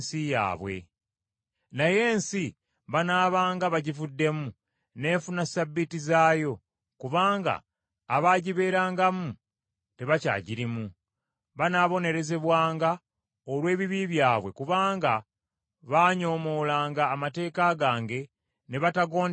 Naye ensi banaabanga bagivuddemu n’efuna ssabbiiti zaayo kubanga abaagibeerangamu tebakyagirimu. Banaabonerezebwanga olw’ebibi byabwe kubanga baanyoomoolanga amateeka gange ne batagondera biragiro byange.